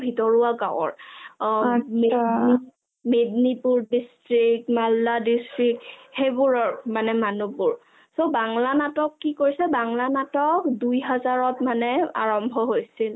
ভিতৰুৱা গাঁৱৰ অ মেগনিপুৰ district, মাল্লা district সেইবোৰৰ মানে মানুহবোৰ so বাংলা নাটক কি কৈছে বাংলা নাটক দুই হাজাৰত মানে আৰম্ভ হৈছিল ।